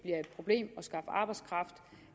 problem